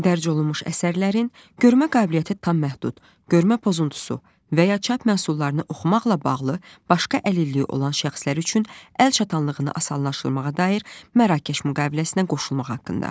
Dərc olunmuş əsərlərin görmə qabiliyyəti tam məhdud, görmə pozuntusu və ya çap məhsullarını oxumaqla bağlı başqa əlilliyi olan şəxslər üçün əl çatanlığını asanlaşdırmağa dair Mərakeş müqaviləsinə qoşulmaq haqqında.